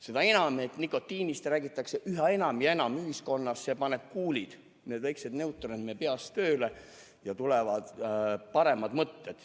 Seda enam, et nikotiinist räägitakse ühiskonnas üha enam ja enam, see paneb kuulid, need väiksed neuronid meie peas tööle ja tulevad paremad mõtted.